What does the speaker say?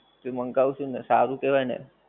એટલે મંગાયું શું ને સારું કહેવાય ને